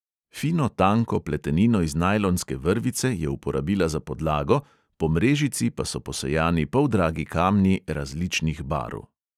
Fino tanko pletenino iz najlonske vrvice je uporabila za podlago, po mrežici pa so posejani poldragi kamni različnih barv.